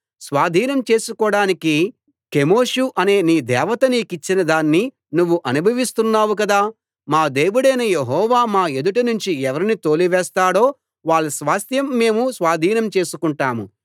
స్వాధీనం చేసుకోడానికి కెమోషు అనే నీ దేవుత నీకిచ్చిన దాన్ని నువ్వు అనుభవిస్తున్నావు కదా మా దేవుడైన యెహోవా మా ఎదుట నుంచి ఎవరిని తోలివేస్తాడో వాళ్ళ స్వాస్థ్యం మేము స్వాధీనం చేసుకుంటాము